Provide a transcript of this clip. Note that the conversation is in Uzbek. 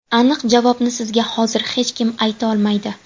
Aniq javobni sizga hozir hech kim ayta olmaydi.